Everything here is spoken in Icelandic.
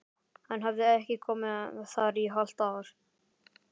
Hann hafði ekki komið þar í hálft ár!